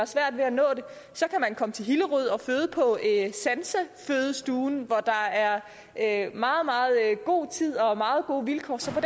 svært ved at nå det så kan man komme til hillerød og føde på sansefødestuen hvor der er meget meget god tid og meget gode vilkår så på